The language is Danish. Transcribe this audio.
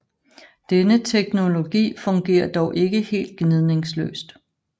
Denne teknologi fungerer dog ikke helt gnidningsløst